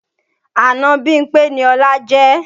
Àna Bímpé ni Ọlá jẹ́